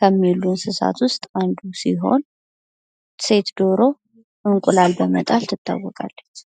ከሚውሉ እንሰሳት ውስጥ አንዱ ሲሆን ሴት ደሮ እንቁላል በመጣል ትታወቃለች።